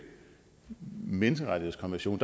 menneskerettighedskonvention